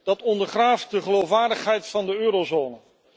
Dat ondergraaft de geloofwaardigheid van de eurozone.